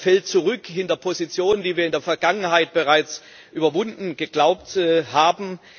Er fällt zurück hinter Positionen, die wir in der Vergangenheit bereits überwunden geglaubt haben.